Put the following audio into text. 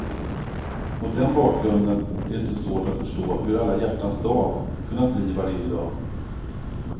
Mot den bakgrunden är det inte så svårt att förstå hur alla hjärtans dag kunnat bli vad det är i dag.